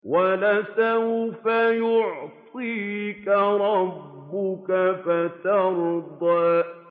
وَلَسَوْفَ يُعْطِيكَ رَبُّكَ فَتَرْضَىٰ